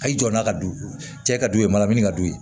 Hali i jɔ n'a ka du cɛ ka d'u ye manamini ka d'u ye